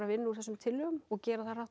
vinna úr þessum tillögum og gera það hratt